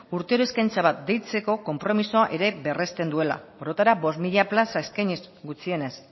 urtero eskaintza bat deitzeko konpromisoa ere berresten duela orotara bost mila plaza eskainiz gutxienez